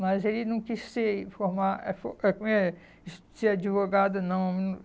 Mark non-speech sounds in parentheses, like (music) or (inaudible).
Mas ele não quis ser (unintelligible) eh como é? es ser advogado, não.